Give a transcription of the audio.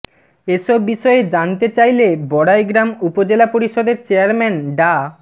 এসব বিষয়ে জানতে চাইলে বড়াইগ্রাম উপজেলা পরিষদের চেয়ারম্যান ডা